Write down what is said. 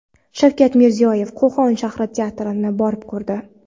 Shavkat Mirziyoyev Qo‘qon shahar teatrini borib ko‘rdi.